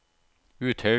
Uthaug